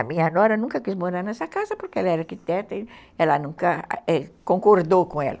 A minha nora nunca quis morar nessa casa porque ela era arquiteta e ela nunca concordou com ela.